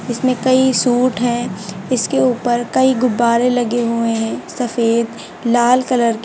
इसमें कई सूट है इसके ऊपर कई गुब्बारे लगे हुए है सफेद लाल कलर के--